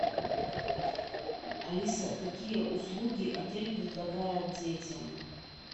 алиса какие услуги отель предлагает детям